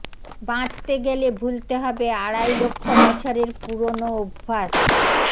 বাঁচতে গেলে ভুলতে হবে আড়াই লক্ষ বছরের পুরনো অভ্যাস